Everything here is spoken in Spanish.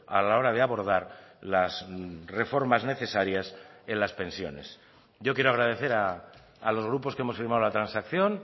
a la hora de abordar las reformas necesarias en las pensiones yo quiero agradecer a los grupos que hemos firmado la transacción